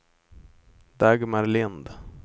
Dagmar Lind